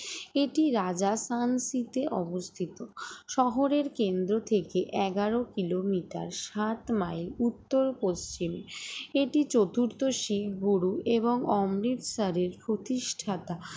এটি রাজা সংসিতে অবস্থিত শহরের কেন্দ্র থেকে এগারো কিলোমিটার সাতমাইল উত্তর-পশ্চিম এটি চতুর্থ শিখ গুরু এবং অমৃতসরের এর প্রতিষ্ঠাতা